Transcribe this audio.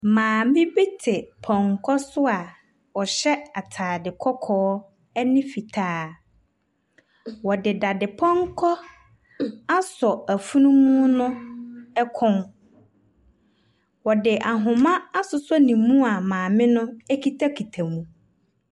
Maame bi te pɔnkɔ so a ɔhyɛ ataade kɔkɔɔ ɛne fitaa. Wɔde dadepɔnkɔ asɔ afunumu no ɛkɔn. Wɔde ahoma asosɔ ne mu a maame no ɛkitakita mu.